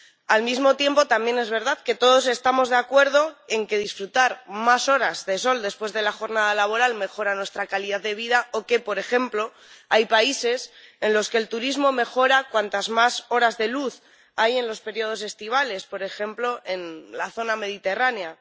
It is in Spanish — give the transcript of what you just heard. Al mismo tiempo, también es verdad que todos estamos de acuerdo en que disfrutar más horas de sol después de la jornada laboral mejora nuestra calidad de vida o que, por ejemplo, hay países en los que el turismo mejora cuantas más horas de luz hay en los periodos estivales, por ejemplo en la zona mediterránea.